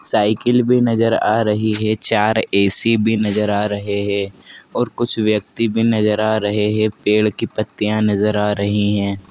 Cycle भी नजर आ रही है चार ए_सी भी नजर आ रहे हैं और कुछ व्यक्ति भी नजर आ रहे है पेड़ की पत्तियां नजर आ रही है।